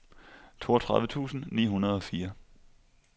toogtredive tusind ni hundrede og fire